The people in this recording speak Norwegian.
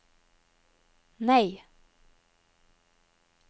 nei